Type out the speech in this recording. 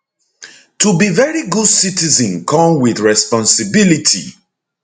to be veri good citizen come wit responsibility